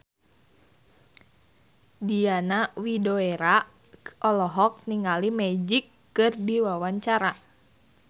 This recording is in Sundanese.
Diana Widoera olohok ningali Magic keur diwawancara